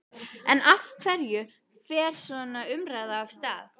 En af hverju fer svona umræða af stað?